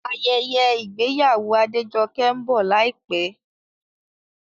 Ayẹyẹ ìgbéyàwó Adejoke ń bọ̀ láìpẹ́